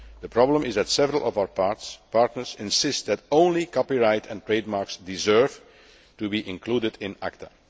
The problem is that several of our partners insist that only copyright and trademarks deserve' to be included in ACTA.